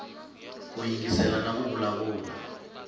ku yingisela na ku vulavula